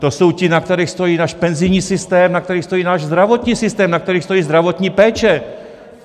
To jsou ti, na kterých stojí náš penzijní systém, na kterých stojí náš zdravotní systém, na kterých stojí zdravotní péče!